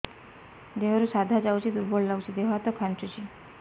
ଦେହରୁ ସାଧା ଯାଉଚି ଦୁର୍ବଳ ଲାଗୁଚି ଦେହ ହାତ ଖାନ୍ଚୁଚି